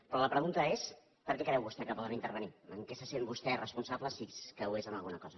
però la pregunta és per què creu vostè que ens poden intervenir i en què se sent vostè responsable si és que ho és en alguna cosa